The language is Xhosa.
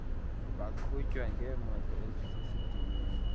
baqhutywa ngemoto ezisesidimeni